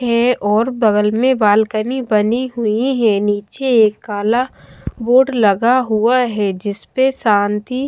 है और बगल में बालकनी बनी हुई है नीचे एक काला बोर्ड लगा हुआ है जिसपे शांति--